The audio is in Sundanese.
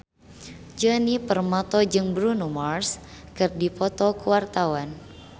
Djoni Permato jeung Bruno Mars keur dipoto ku wartawan